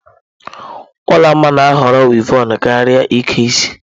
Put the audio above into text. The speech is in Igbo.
Olanma na-ahọrọ wịevọn karịa ịke isi.